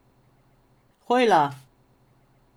Hojla!